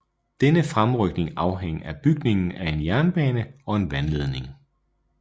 Denne fremrykning afhang af bygningen af en jernbane og en vandledning